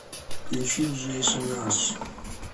включи джейсон арс